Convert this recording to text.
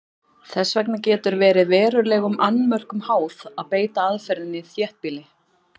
Þess vegna getur verið verulegum annmörkum háð að beita aðferðinni í þéttbýli.